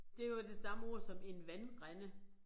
Det jo det samme ord som en vandrende